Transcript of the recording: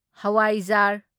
ꯖꯋꯥꯥꯢꯖꯥꯔ